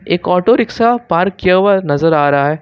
एक auto rickshaw park किया हुआ नजर आ रहा है।